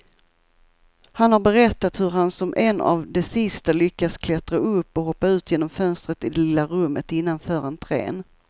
Han har berättat hur han som en av de sista lyckas klättra upp och hoppa ut genom fönstret i det lilla rummet innanför entrén.